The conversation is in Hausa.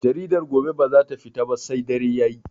Jaridar gobe bazata fita ba sai dare Yayi